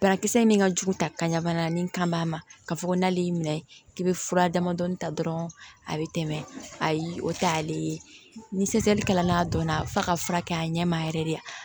Banakisɛ in min ka jugu ta ka bana ni kan ma ka fɔ ko n'ale y'i minɛ k'i bɛ fura damadɔni ta dɔrɔn a bɛ tɛmɛ ayi o t'ale ye ni dɔnna a f'a ka furakɛ a ɲɛ ma yɛrɛ de